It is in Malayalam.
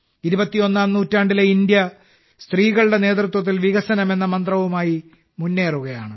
ഇരുപത്തിയൊന്നാം നൂറ്റാണ്ടിലെ ഇന്ത്യ സ്ത്രീകളുടെ നേതൃത്വത്തിൽ വികസനം എന്ന മന്ത്രവുമായി മുന്നേറുകയാണ്